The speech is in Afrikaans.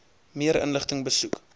meer inligting besoek